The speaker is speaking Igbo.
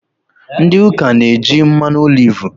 Ndị ụka na-eji mmanụ olivu